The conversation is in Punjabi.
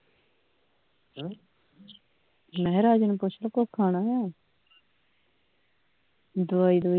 ਮੈਂ ਕਿਹਾ ਰਾਜੇ ਨੂੰ ਪੁੱਛ ਲਓ ਕੁਝ ਖਾਣਾ ਆ ਦਵਾਈ